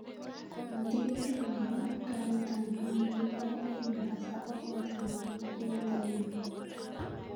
Al tiketit nepo karit ap maat ne mandaa en mombasa araet ap angwan tarikit taman ak angwan